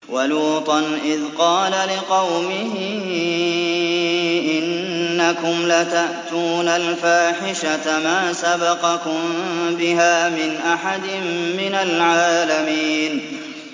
وَلُوطًا إِذْ قَالَ لِقَوْمِهِ إِنَّكُمْ لَتَأْتُونَ الْفَاحِشَةَ مَا سَبَقَكُم بِهَا مِنْ أَحَدٍ مِّنَ الْعَالَمِينَ